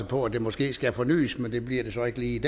på at det måske skal fornyes men det bliver det så ikke lige